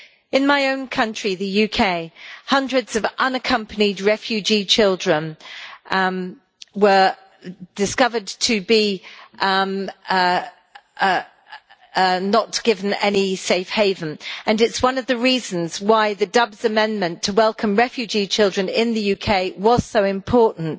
In my own country, the UK, hundreds of unaccompanied refugee children were discovered to be not given any safe haven and it is one of the reasons why the Dubs amendment to welcome refugee children in the UK was so important.